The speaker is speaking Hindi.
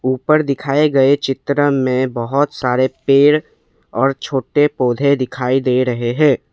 ऊपर दिखाए गए चित्र में बहौत सारे पेड़ और छोटे पौधे दिखाई दे रहे हैं।